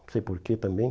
Não sei por que também.